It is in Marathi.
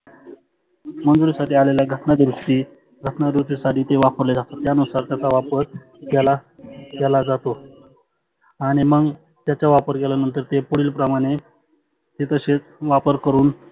मंजुरी साठी आलेल्या घटना दुरुस्ती घटना दुरुस्ती साठी ते वापरले जाते यानुसार त्याच्या वापर केला केला जातो. आणि मग त्याचा वापर केल्यानंतर ते पुढील प्रमाणे ते तसेच वापर करुण